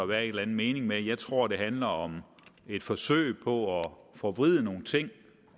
være en eller anden mening med det jeg tror det handler om et forsøg på at forvride nogle ting